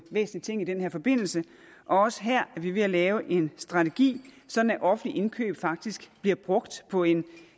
væsentlig ting i den her forbindelse også her er vi ved at lave en strategi sådan at offentlige indkøb faktisk bliver brugt på en